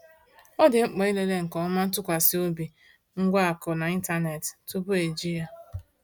Ọ dị mkpa ịlele nke ọma ntụkwasị obi ngwa akụ n’ịntanetị tupu eji ya.